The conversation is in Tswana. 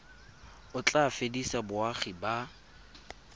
o tla fedisa boagi ba